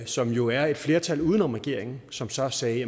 som jo er et flertal uden om regeringen som så sagde